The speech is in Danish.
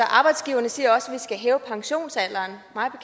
arbejdsgiverne siger også at vi skal hæve pensionsalderen mig